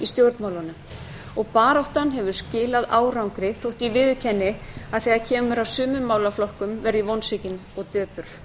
stjórnmálunum og baráttan hefur skilað árangri þótt ég viðurkenni að þegar kemur að sumum málum verð ég vonsvikin og döpur